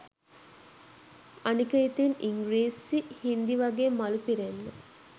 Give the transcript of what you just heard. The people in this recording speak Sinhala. අනික ඉතින් ඉංග්‍රීසි හින්දි වගේ මලු පිරෙන්න